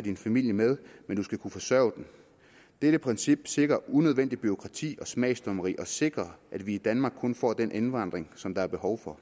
din familie med men du skal kunne forsørge den dette princip sikrer unødvendigt bureaukrati og smagsdommeri og sikrer at vi i danmark kun får den indvandring som der er behov for